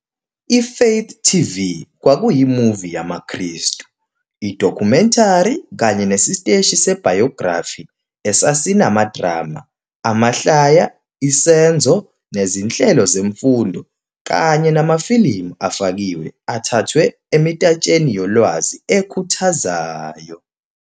I-Faith TV kwakuyi- movie yamaKristu, idokhumentari kanye nesiteshi se-biography esasi amadrama, amahlaya, isenzo, nezinhlelo zemfundo kanye namafilimu afakiwe athathwe emitatsheni yolwazi ekhuthazayo.